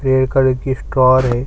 ये कहीं की स्टोर है।